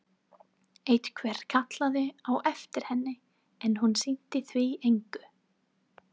Einhver kallaði á eftir henni, en hún sinnti því engu.